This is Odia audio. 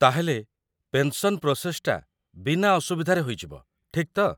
ତା'ହେଲେ, ପେନ୍‌ସନ୍ ପ୍ରୋସେସ୍‌ଟା ବିନା ଅସୁବିଧାରେ ହୋଇଯିବ, ଠିକ୍ ତ?